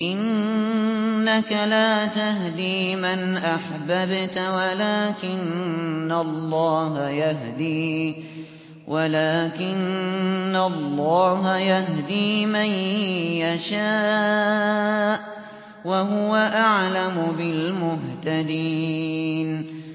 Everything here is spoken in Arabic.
إِنَّكَ لَا تَهْدِي مَنْ أَحْبَبْتَ وَلَٰكِنَّ اللَّهَ يَهْدِي مَن يَشَاءُ ۚ وَهُوَ أَعْلَمُ بِالْمُهْتَدِينَ